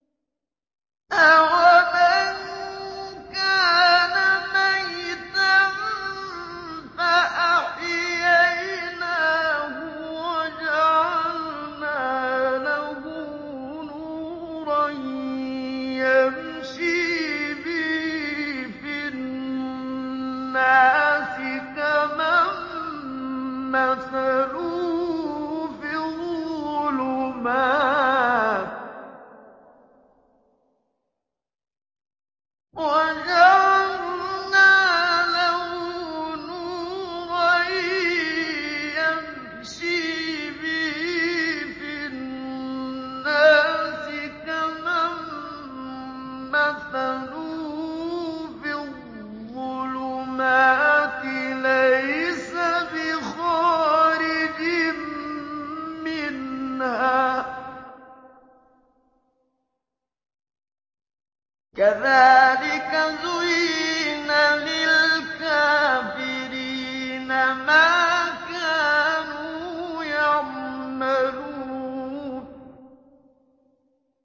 أَوَمَن كَانَ مَيْتًا فَأَحْيَيْنَاهُ وَجَعَلْنَا لَهُ نُورًا يَمْشِي بِهِ فِي النَّاسِ كَمَن مَّثَلُهُ فِي الظُّلُمَاتِ لَيْسَ بِخَارِجٍ مِّنْهَا ۚ كَذَٰلِكَ زُيِّنَ لِلْكَافِرِينَ مَا كَانُوا يَعْمَلُونَ